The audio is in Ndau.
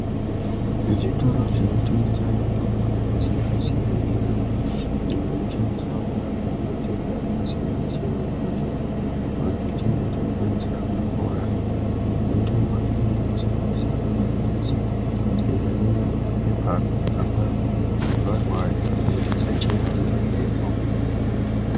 Zvitoro zvinotengese mitombo yakasiyana-siyana iyo inoshandiswa kurapa matenda akasiyana-siyana. Kuti vantu tinge tichikwanisa kupora. Mitombo iyi inosanganisirawo maphirisi awo anenge ari mumapepa akavharwa kuti asachaive ngemhepo.